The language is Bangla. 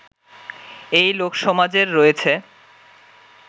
এই লোকসমাজের রয়েছে